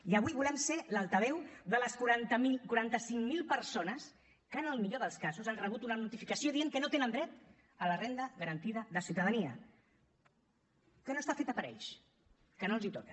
i avui volem ser l’altaveu de les quaranta cinc mil persones que en el millor dels casos han rebut una notificació que deia que no tenen dret a la renda garantida de ciutadania que no està feta per a ells que no els toca